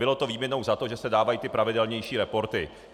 Bylo to výměnou za to, že se dávají ty pravidelnější reporty.